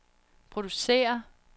producerer